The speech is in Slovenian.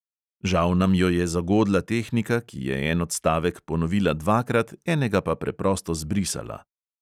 Žal nam jo je zagodla tehnika, ki je en odstavek ponovila dvakrat, enega pa preprosto zbrisala.